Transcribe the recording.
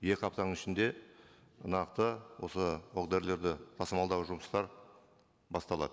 екі аптаның ішінде нақты осы оқ дәрілерді тасымалдау жұмыстары басталады